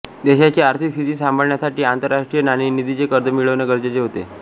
देशाची आर्थिक स्थिती साम्भाळण्यासाठी आन्तरराष्ट्रीय नाणेनिधीचे कर्ज मिळवणे गरजेचे होते